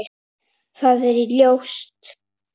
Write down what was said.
Það er ljóst.